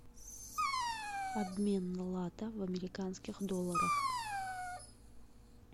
обмен лата в американских долларах